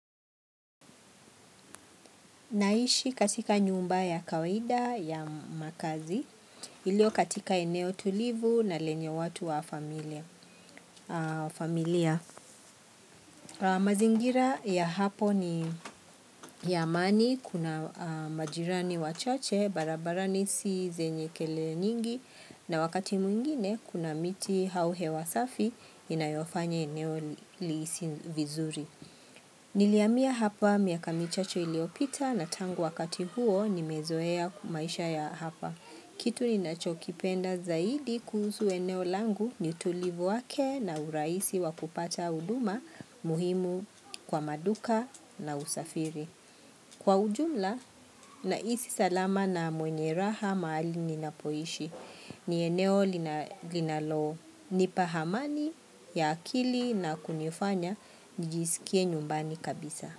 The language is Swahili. Naishi katika nyumba ya kawaida ya makazi, iliyo katika eneo tulivu na lenye watu wa familia. Mazingira ya hapo ni ya amani, kuna majirani wachache, barabarani si zenye kelele nyingi, na wakati mwingine kuna miti au hewa safi inayofanya eneo lihisi vizuri. Nilihamia hapa miaka michache iliyopita na tangu wakati huo nimezoea maisha ya hapa. Kitu ninachokipenda zaidi kuhusu eneo langu ni utulivu wake na urahisi wa kupata huduma muhimu kwa maduka na usafiri. Kwa ujumla nahisi salama na mwenye raha mahali ninapoishi. Ni eneo linalonipa amani ya akili na kunifanya nijisikie nyumbani kabisa.